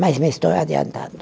Mas me estou adiantando.